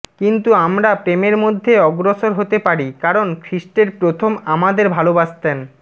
কিন্তু আমরা প্রেমের মধ্যে অগ্রসর হতে পারি কারণ খ্রীষ্টের প্রথম আমাদের ভালোবাসতেন